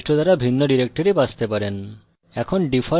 browse বৈশিষ্ট্য দ্বারা ভিন্ন directory বাছতে পারেন